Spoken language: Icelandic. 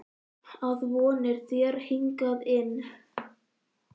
Að von er á þér hingað inn.